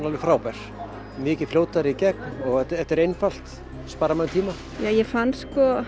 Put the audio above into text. alveg frábært mikið fljótari í gegn og þetta er einfalt sparar manni tíma ég fann sko